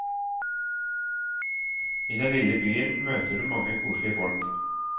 I den lille byen møter du mange koselige folk.